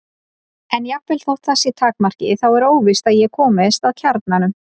En jafnvel þótt það sé takmarkið þá er óvíst að ég komist að kjarnanum.